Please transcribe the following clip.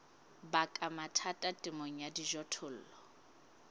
baka mathata temong ya dijothollo